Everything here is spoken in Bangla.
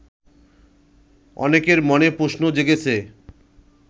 অনেকের মনে প্রশ্ন জেগেছে